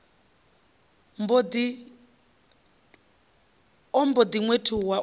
mb o ḓi ṅwethuwa u